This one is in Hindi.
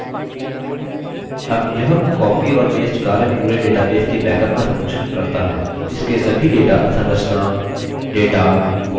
अब यह copy और paste कार्य पूरे database के बैकअप का संरक्षण करता हैः